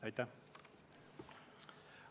Aitäh!